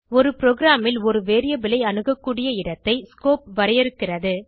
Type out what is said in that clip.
ஒரு ப்ரோகிராமில் ஒரு வேரியபிள் ஐ அணுக கூடிய இடத்தை ஸ்கோப் வரையறுக்கிறது